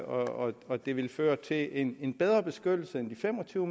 og og det ville føre til en en bedre beskyttelse end de fem og tyve